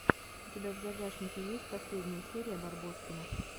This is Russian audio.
у тебя в загашнике есть последняя серия барбоскиных